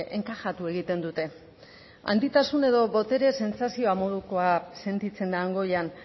enkajatu egiten dute handitasun edo botere sentsazioa modukoa sentitzen da han goian